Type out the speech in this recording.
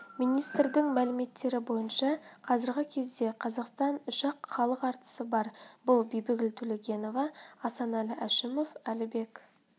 министрдің мәліметтері бойынша қазіргі кезде қазақстанда үш-ақ халық әртісі бар бұл бибігүл төлегенова асанәлі әшімов әлібек